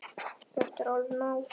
Þetta er alveg nóg!